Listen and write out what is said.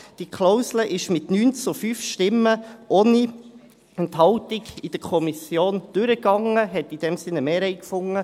Diese Klausel ist mit 9 zu 5 Stimmen ohne Enthaltung in der Kommission durchgegangen und hat in diesem Sinne eine Mehrheit gefunden.